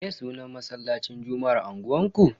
Me sunan masallacin juma'ar unguwanku?